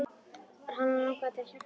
Hana langaði til að hjálpa honum.